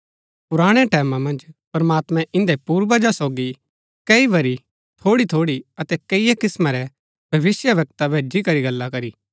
पुराणै टैमां मन्ज प्रमात्मैं इन्दै पूर्वजा सोगी कई बरी थोड़ीथोड़ी अतै कैईआ किस्‍मां रै भविष्‍यवक्ता भेजी करी गल्ला करी